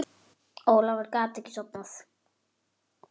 Ólafur gat ekki sofnað.